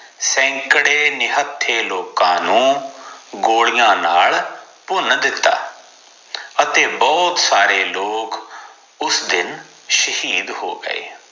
ਸੈਂਕੜੇ ਨਿਹੱਥੇ ਲੋਕ ਨੂੰ ਗੋਲੀਆਂ ਨਾਲ ਭੁਨ ਦਿਤਾ ਅਤੇ ਬਹੁਤ ਸਾਰੇ ਲੋਗ ਉਸ ਦਿਨ ਸ਼ਾਹਿਦ ਹੋ ਗਏ